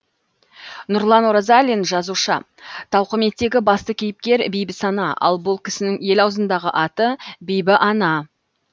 нұрлан оразалин жазушы тауқыметтегі басты кейіпкер бибісана ал бұл кісінің ел аузындағы аты бибіана